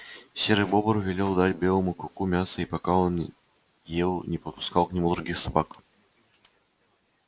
серый бобр велел дать белому клыку мяса и пока он ел не подпускал к нему других собак